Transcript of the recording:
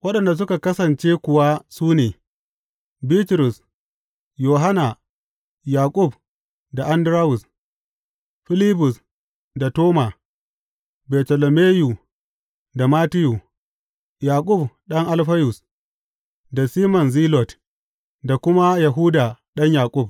Waɗanda suka kasance kuwa su ne, Bitrus, Yohanna, Yaƙub da Andarawus; Filibus da Toma; Bartolomeyu da Mattiyu; Yaƙub ɗan Alfayus da Siman Zilot, da kuma Yahuda ɗan Yaƙub.